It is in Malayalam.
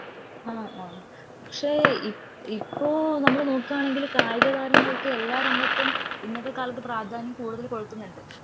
ആ ആ പക്ഷെ ഇപ്പോ നമ്മള് നോക്കാനെങ്കിൽ കായിക താരങ്ങൾക്കു എല്ലാ രംഗത്തും ഇന്നത്തെ കാലത്തു പ്രധാതന്യം കൂടുതൽ കൊടുക്കുന്നുണ്ട്.